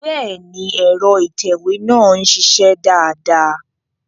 Bẹ́ẹ̀ni, ẹ̀rọ ìtẹ̀wé náà ń ṣiṣẹ́ dáadáa